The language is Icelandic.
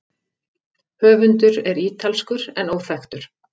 Höfundur er ítalskur en óþekktur.